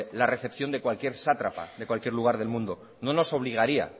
la recepción de cualquier sátrapa de cualquier lugar del mundo no nos obligaría